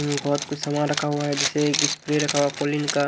हम्म बहुत कुछ सामान रखा हुआ है जैसे एक स्प्रे रखा हुआ कॉलीन का --